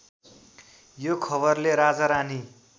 यो खबरले राजारानी